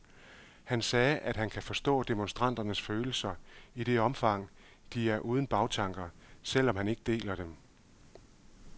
Han sagde, at han kan forstå demonstranternes følelser, i det omfang de er uden bagtanker, selv om han ikke deler dem.